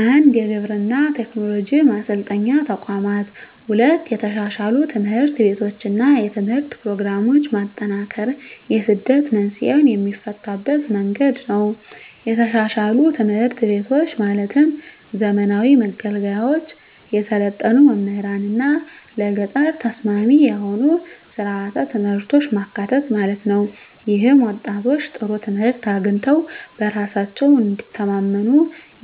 1. የግብርና ቴክኖሎጂ ማሰልጠኛ ተቋማት 2. የተሻሻሉ ትምህርት ቤቶችና የትምህርት ፕሮግራሞች ማጠናከር የስደት መንስኤን የሚፈታበት መንገድ ነው የተሻሻሉ ትምህርት ቤቶች ማለትም ዘመናዊ መገልገያዎች፣ የሰለጠኑ መምህራንና ለገጠር ተስማሚ የሆኑ ሥርዓተ ትምህርቶች ማካተት ማለት ነው። ይህም ወጣቶች ጥሩ ትምህርት አግኝተው በራሳቸው እንዲተማመኑ